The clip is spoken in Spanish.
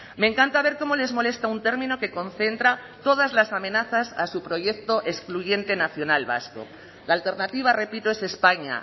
me encanta ver cómo les molesta un término que concentra todas las amenazas a su proyecto excluyente nacional vasco la alternativa repito es españa